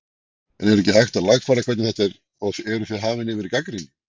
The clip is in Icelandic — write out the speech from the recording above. En er ekkert hægt að lagfæra hvernig þetta er eða eruð þið hafin yfir gagnrýni?